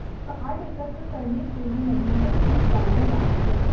card एकत्र करने के लिए नवीनतम फीड डालने वाला है